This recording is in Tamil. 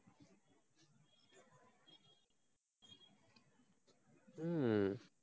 ஹம்